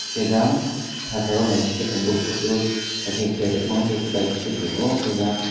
hingke jang pataro naisike tongboro photo abo ke keya tongmo wngke kotai sori tongo jang.